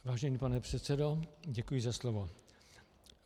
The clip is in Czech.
Vážený pane předsedo, děkuji za slovo.